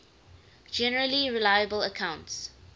generally reliable accounts